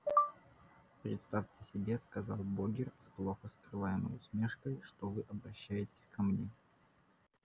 представьте себе сказал богерт с плохо скрываемой усмешкой что вы обращаетесь ко мне